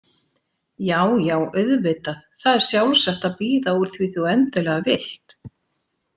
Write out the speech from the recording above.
Já, já auðvitað, það er sjálfsagt að bíða úr því þú endilega vilt.